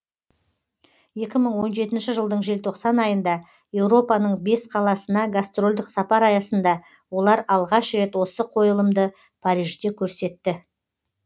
екі мың он жетінші жылдың желтоқсан айында еуропаның бес қаласына гастрольдік сапар аясында олар алғаш рет осы қойылымды парижде көрсетті